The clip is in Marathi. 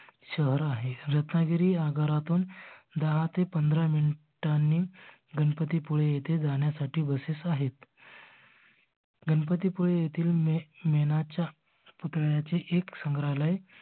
शहर आहे. रत्नागिरी आगारातून दहा ते पाधरा minute नी गणपती पुळे येथे जाण्यासाठी बसेस आहेत. गणपती पुळे येथील मे मेणाच्या पुतळ्याचे एक संग्रहालाय